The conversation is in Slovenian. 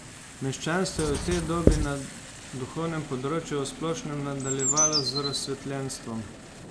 Meščanstvo je v tej dobi na duhovnem področju v splošnem nadaljevalo z razsvetljenstvom.